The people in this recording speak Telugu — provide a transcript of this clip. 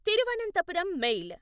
తిరువనంతపురం మెయిల్